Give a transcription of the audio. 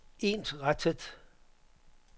ensrettet